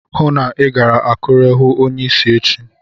Hụụ na Ị gara Akure hụụ onyeisi echi!